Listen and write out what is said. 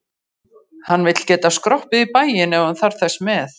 Hann vill geta skroppið í bæinn ef hann þarf þess með.